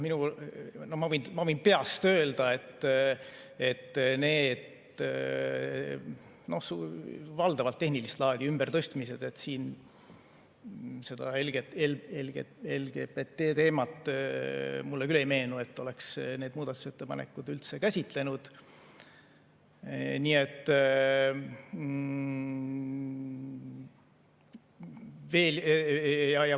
Ma võin peast öelda, et need on valdavalt tehnilist laadi ümbertõstmised, ja mulle küll ei meenu, et seda LGBT teemat oleks need muudatusettepanekud üldse käsitlenud.